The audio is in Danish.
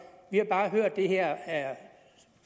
vi har bare hørt at det her er